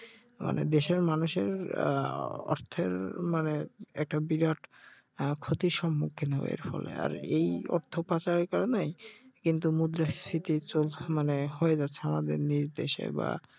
আমাদের দেশের মানুষের আহ অর্থের মানে একটা বিরাট আহ ক্ষতির সম্মূখহীন হয়ে যেতে হবে আর এই অর্থপাচারের কারণে কিন্তু মুদ্রাস্ফীতি চলছে মানে হয়ে যাচ্ছে আমাদের নিজ দেশে বা